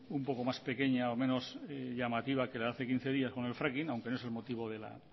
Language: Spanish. un poco más pequeña o menos llamativa que la de hace quince días con el fracking aunque no es el motivo de la